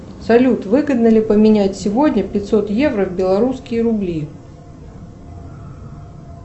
салют выгодно ли поменять сегодня пятьсот евро в белорусские рубли